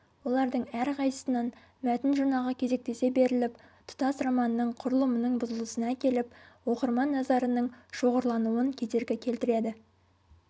олардың әрқайсысынан мәтін жұрнағы кезектесе беріліп тұтас романның құрылымының бұзылысына әкеліп оқырман назарының шоғырлануын кедергі келтіреді